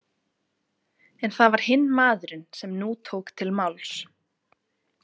En það var hinn maðurinn sem nú tók til máls.